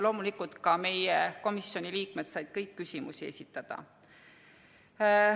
Loomulikult said ka meie komisjoni liikmed kõik küsimusi esitada.